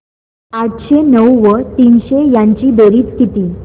आठशे नऊ व तीनशे यांची बेरीज किती